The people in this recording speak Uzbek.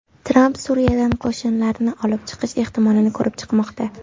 Tramp Suriyadan qo‘shinlarni olib chiqish ehtimolini ko‘rib chiqmoqda.